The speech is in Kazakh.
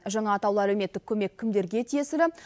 жаңа атаулы әлеуметтік көмек кімдерге тиесілі